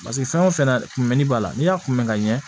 Paseke fɛn o fɛn na kunmɛn b'a la n'i y'a kun bɛn ka ɲɛ